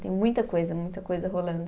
Tem muita coisa, muita coisa rolando.